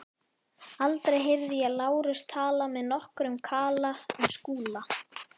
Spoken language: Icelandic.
Aldrei heyrði ég Lárus tala með nokkrum kala um Skúla.